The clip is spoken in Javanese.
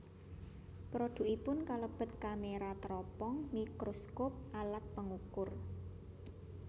Produkipun kalebet kamera teropong mikroskop alat pengukur